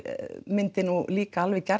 myndi nú líka alveg